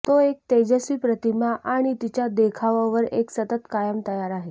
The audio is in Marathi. तो एक तेजस्वी प्रतिमा आणि तिच्या देखावा वर एक सतत काम तयार आहे